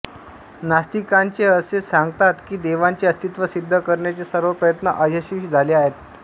नास्तिकांचे असे सांगतात की देवाचे अस्तित्व सिद्ध करण्याचे सर्व प्रयत्न अयशस्वी झाले आहेत